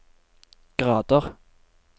grader